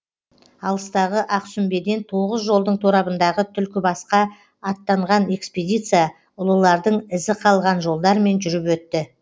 алыстағы ақсүмбеден тоғыз жолдың торабындағы түлкібасқа аттанған экспедиция ұлылардың ізі қалған жолдармен жүріп өтті